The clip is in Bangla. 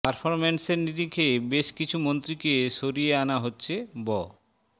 পারফরমেন্সের নিরিখে বেশ কিছু মন্ত্রীকে সরিয়ে আনা হচ্ছে ব